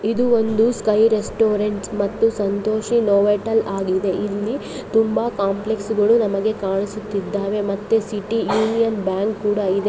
ಇಲ್ಲಿ sky restaurants ಮತ್ತು Santoshi Novotel ಆಗಿದೆ ಇಲ್ಲಿ ತುಂಬಾ ಕಾಂಪ್ಲೆಕ್ಸ್ ಗಳು ನಮಗೆ ಕಾಣಿಸುತ್ತಿದ್ದಾವೆ ಮತ್ತೆ ಸಿಟಿ ಯೂನಿಯನ್ ಬ್ಯಾಂಕ್ ಕೂಡ ಇದೆ.